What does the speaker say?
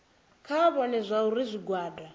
kha vha vhone zwauri zwigwada